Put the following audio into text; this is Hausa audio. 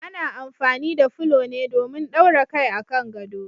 Ana amfani da fulo ne domin daura kai a kan gado.